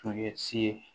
Tun ye si ye